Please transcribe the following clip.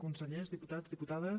consellers diputats diputades